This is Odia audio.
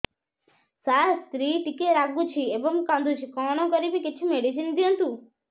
ସାର ସ୍ତ୍ରୀ ଟିକେ ରାଗୁଛି ଏବଂ କାନ୍ଦୁଛି କଣ କରିବି କିଛି ମେଡିସିନ ଦିଅନ୍ତୁ